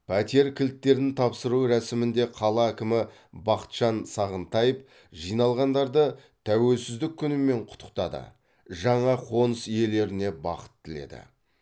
пәтер кілттерін тапсыру рәсімінде қала әкімі бақытжан сағынтаев жиналғандарды тәуелсіздік күнімен құттықтады жаңа қоныс иелеріне бақыт тіледі